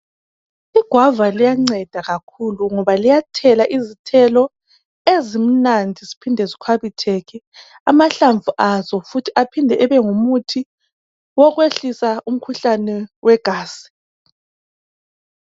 i guava liyanceda kakhulu ngoba liyathela izithelo ezimnandi ziphinde zikhwabitheke amahlamv azo aphinde abe ngumuthi wokwehlisa umkhuhlane wegazi